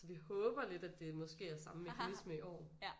Så vi håber lidt at det måske er samme mekanisme i år